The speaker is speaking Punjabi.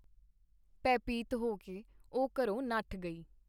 ਭੈਭੀਤ ਹੋ ਕੇ ਉਹ ਘਰੋਂ ਨੱਠ ਗਈ.